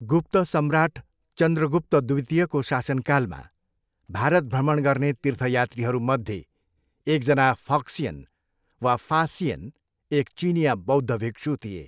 गुप्त सम्राट चन्द्रगुप्त द्वितीयको शासनकालमा भारत भ्रमण गर्ने तीर्थयात्रीहरूमध्ये एकजना फक्सियन वा फा सिएन, एक चिनियाँ बौद्ध भिक्षु थिए।